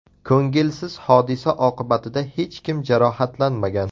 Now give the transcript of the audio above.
Ko‘ngilsiz hodisa oqibatida hech kim jarohatlanmagan.